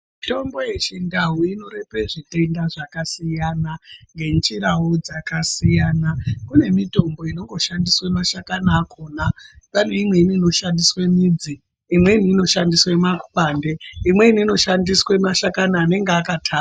Mitombo yechindau inorape zvirwere zvakasiyana. Kune mitombo inongoshandiswa mashakani akhona, pane imweni inoshandiswe midzi, imweni inoshandiswa makwande. Imweni inoshandiswe mashakani anenge anenge akata.